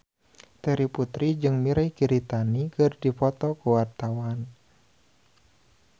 Terry Putri jeung Mirei Kiritani keur dipoto ku wartawan